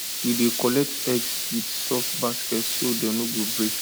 we dey collect eggs with soft basket so dem no go break